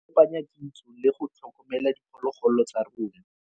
go tlhokomela diphologolo tsa rona.